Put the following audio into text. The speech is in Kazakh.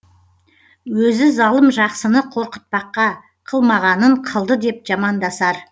өзі залым жақсыны қорқытпаққа қылмағанын қылды деп жамандасар